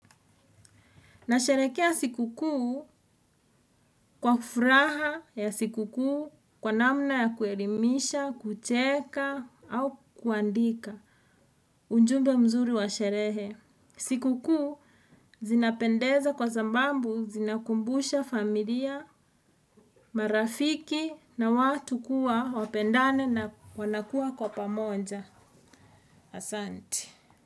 Na sherehekea sikukuu kwa furaha ya sikukuu kwa namna ya kuelimisha, kucheka au kuandika. Unjumbe mzuri wa sherehe. Sikukuu zinapendeza kwa sababu zinakumbusha familia, marafiki na watu kuwa wapendane na wanakua kwa pamoja. Asante.